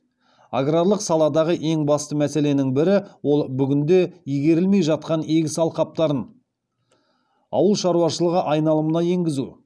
аграрлық саладағы ең басты мәселенің бірі ол бүгінде игерілмей жатқан егіс алқаптарын ауыл шаруашылығы айналымына енгізу